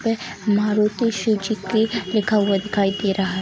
Maruti Suzuki लिखा हुआ दिखाई दे रहा है।